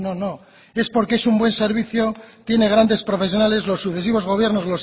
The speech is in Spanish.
no es porque es un buen servicio tiene grandes profesionales los sucesivos gobiernos